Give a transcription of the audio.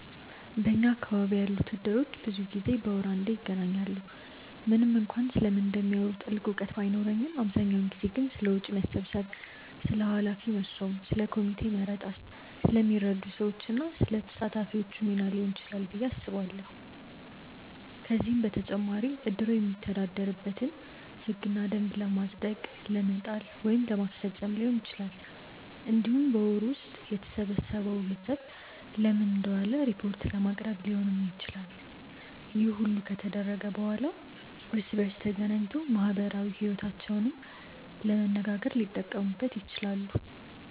በኛ አካባቢ ያሉት እድሮች ብዙ ጊዜ በወር አንዴ ይገናኛሉ። ምንም እንኳን ስለምን እንደሚያወሩ ጥልቅ እውቀት ባይኖረኝም አብዛኛውን ጊዜ ግን ስለ ወጪ መሰብሰብ፣ ስለ ኃላፊ መሾም፣ ስለ ኮሚቴ መረጣ፣ ስለሚረዱ ሰዎች እና ስለ ተሳታፊዎቹ ሚና ሊሆን ይችላል ብዬ አስባለሁ። ከዚህም በተጨማሪ እድሩ የሚተዳደርበትን ህግና ደንብ ለማጽደቅ ለመጣል ወይም ለማስፈፀም ሊሆን ይችላል። እንዲሁም በወሩ ውስጥ የተሰበሰበው ገንዘብ ለምን እንደዋለ ሪፖርት ለማቅረብ ሊሆንም ይችላል። ይህ ሁሉ ከተደረገ በኋላ እርስ በእርስ ተገናኝቶ ማህበራዊ ይወታቸውንም ለመነጋገር ሊጠቀሙት ይችላሉ።